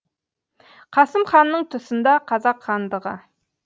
қасым ханның тұсында қазақ хандығы